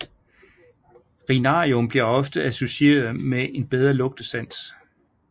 Rinarium bliver ofte associeret med en en bedre lugtesans